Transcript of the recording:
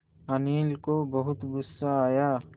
अनिल को बहुत गु़स्सा आया